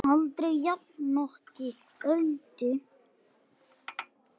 Aldrei jafnoki Öldu.